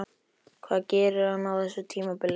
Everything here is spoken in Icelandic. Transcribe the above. Hvað gerir hann á þessu tímabili?